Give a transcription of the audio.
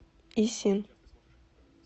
исин